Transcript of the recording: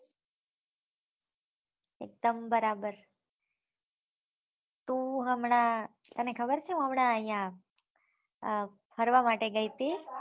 એક્દમ બરાબર હુ હમણાં તને ખબર છે હું હમણાં અહિયા ફરવા માટે ગયી તી